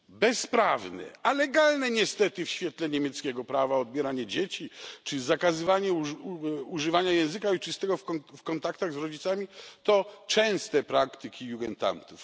Bezprawne, ale legalne niestety w świetle niemieckiego prawa odbieranie dzieci czy zakazywanie używania języka ojczystego w kontaktach z rodzicami to częste praktyki Jugendamtów.